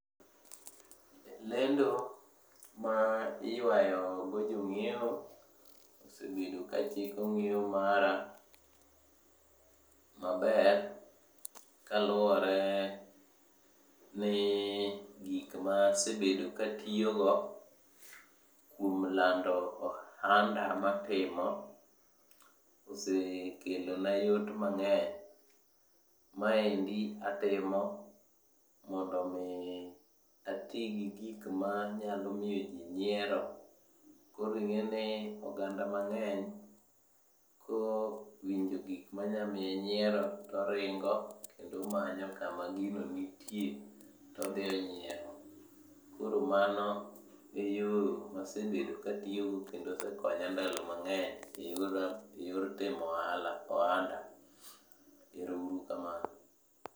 Lendo ma iyuayogo jong'iewo, osebedo kachiko ng'iewo mara maber. Kaluwore ni gikma asebedo katiyogo kuom lando ohanda matimo, osekelona yot mang'eny. Maendi atimo mondo omi ati gi gik manyalomiyoji nyiero. Koro ing'eni oganda mang'eny kowinjo gik manyamiye nyiero, toringo kendo omanyo kama gino nitie todhionyiero. Koro mano e yo masebedo katiyogo kendo osekonya ndalo mang'eny e yor timo ohanda. Ero uru kamano.